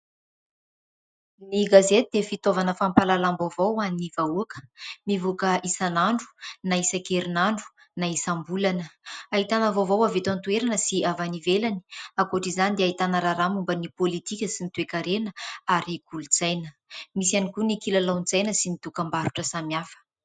Ny gazety dia fitaovana fampahalalam-baovao ho an'ny vahoaka. Mivoaka isan'andro na isan-kerin'andro na isam-bolana, ahitana vaovao avy eto an-toerana sy avy any ivelany, ankoatra izany dia ahitana raharaha momba ny pôlitika sy ny toe-karena ary kolotsaina, misy ihany koa ny kilalaon-tsaina sy ny dokam-barotra samy hafa.